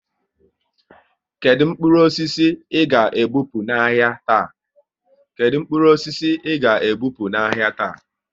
Kedụ mkpụrụ osisi ị ga e bupu n'ahia taa?